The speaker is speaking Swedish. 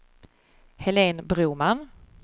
Helene Broman